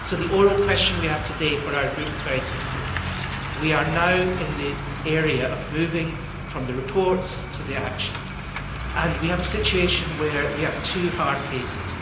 The oral question we have today for our group is very simple. We are now in the area of moving from the reports to the action, and we have a situation where we have two hard cases.